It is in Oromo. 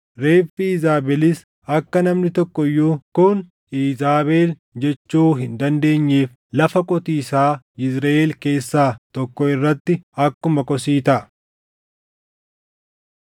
Reeffi Iizaabelis akka namni tokko iyyuu, ‘Kun Iizaabel’ jechuu hin dandeenyeef lafa qotiisaa Yizriʼeel keessaa tokko irratti akkuma kosii taʼa.”